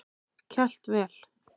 Kælt vel.